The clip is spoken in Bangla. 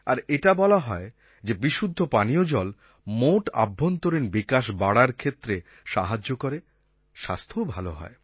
আর এটা বলা হয় যে বিশুদ্ধ পানীয় জল মোট আভ্যন্তরীণ বিকাশ বাড়ার ক্ষেত্রে সাহায্য করে স্বাস্থ্যও ভালো হয়